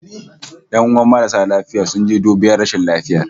"Yanuwan marasa lafiya sun je dubiyar rashin lafiya